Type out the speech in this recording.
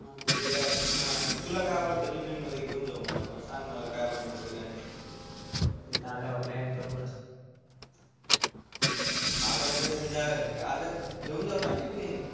जे काही तुला काय आवडत टिफिन मध्ये घेऊन जाऊ आपण सांग मला काय बनवायच काय नाही तिथ आल्यावर प्लॅन करु ना हा जस घेऊन जाऊ ना टिफिन